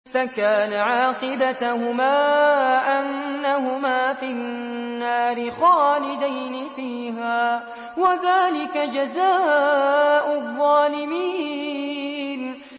فَكَانَ عَاقِبَتَهُمَا أَنَّهُمَا فِي النَّارِ خَالِدَيْنِ فِيهَا ۚ وَذَٰلِكَ جَزَاءُ الظَّالِمِينَ